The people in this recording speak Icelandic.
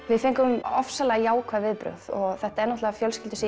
við fengum ofsalega jákvæð viðbrögð og þetta er náttúrulega